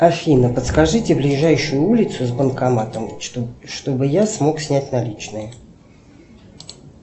афина подскажите ближайшую улицу с банкоматом чтобы я смог снять наличные